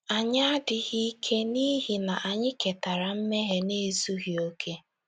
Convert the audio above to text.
Anyị adịghị ike n’ihi na anyị ketara mmehie na ezughị okè.